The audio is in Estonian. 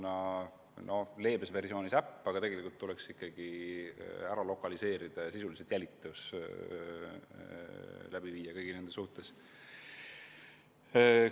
Leebes versioonis kasutataks selleks äppi, aga tegelikult tuleks need inimesed ikkagi lokaliseerida ja kõigi nende suhtes sisuliselt jälitustoimingud läbi viia.